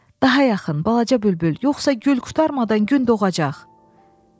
Daha yaxın, balaca bülbül, yoxsa gül qurtarmadan gün doğacaq?